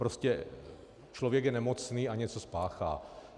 Prostě člověk je nemocný a něco spáchá.